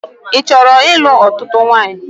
Ị chọrọ ịlụ̣ ọ̣tụ̣tụ̣ nwanyị?